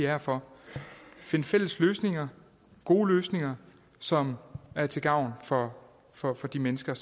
her for at finde fælles løsninger gode løsninger som er til gavn for for de mennesker